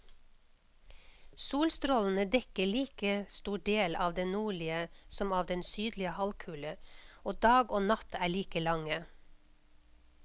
Solstrålene dekker like stor del av den nordlige som av den sydlige halvkule, og dag og natt er like lange.